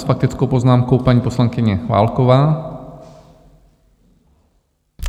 S faktickou poznámkou paní poslankyně Válková.